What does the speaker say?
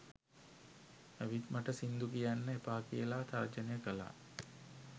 ඇවිත් මට සිංදු කියන්න එපා කියලා තර්ජනය කළා